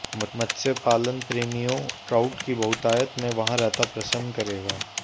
मत्स्य पालन प्रेमियों ट्राउट कि बहुतायत में वहाँ रहता प्रसन्न करेगा